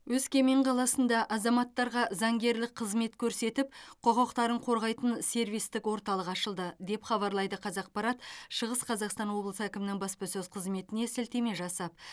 өскемен қаласында азаматтарға заңгерлік қызмет көрсетіп құқықтарын қорғайтын сервистік орталық ашылды деп хабарлайды қазақпарат шығыс қазақстан облысы әкімінің баспасөз қызметіне сілтеме жасап